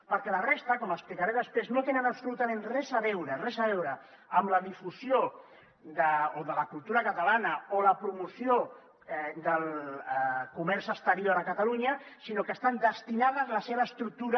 perquè la resta com explicaré després no tenen absolutament res a veure res a veure amb la difusió de la cultura catalana o la promoció del comerç exterior a catalunya sinó que estan destinades la seva estructura